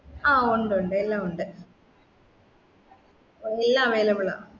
ആ ഉണ്ട് ഉണ്ട് എല്ലാമുണ്ട്എ ല്ലാം available ആണ്